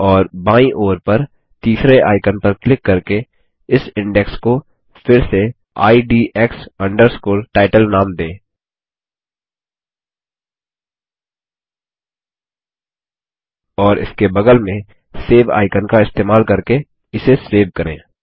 और बायीं ओर पर तीसरे आइकन पर क्लिक करके इस इंडेक्स को फिर से IDX Title नाम दें और इसके बगल में सेव आइकन का इस्तेमाल करके इसे सेव करें